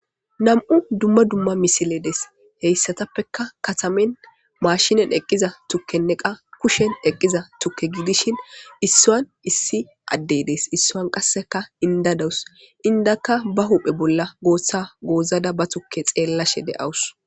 Nam'u dumma dumma misiledes heyssatappeka katamen maashinen eqqiza tukkenne qa kushen eqqiza tukke gidishin issaan issi addeydees issoan qasseka indadawus indakka ba huphe bolla goossa goozada ba tukke xeellashe de'awus.